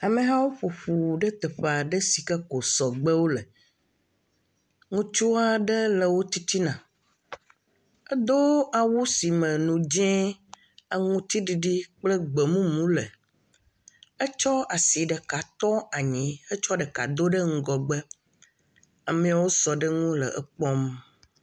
Amehawo ƒo ƒu ɖe teƒe aɖe si ke ko sɔgbewo le. Ŋutsu aɖe le wo titina. Edo awu si me nu dzẽ, aŋutiɖiɖii kple gbemumu le. Etsɔ asi ɖeka tɔ anyi hetsɔ ɖeka do ɖe ŋgɔgbe. Amewo sɔ ɖe edzi le ekpɔm.